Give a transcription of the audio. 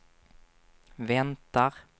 väntar